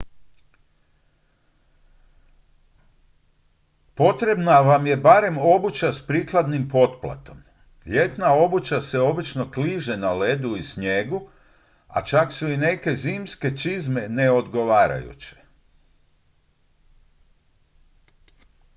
potrebna vam je barem obuća s prikladnim potplatom ljetna obuća se obično kliže na ledu i snijegu a čak su i neke zimske čizme neodgovarajuće